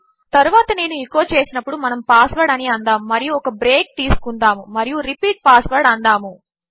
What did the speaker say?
తరువాత నేను ఎచో చేసినప్పుడు మనము పాస్వర్డ్ అనిఅందాముమరియుఒకబ్రేక్తీసుకుందాముమరియు రిపీట్ పాస్వర్డ్ అందాము